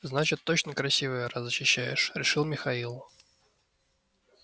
значит точно красивая раз защищаешь решил михаил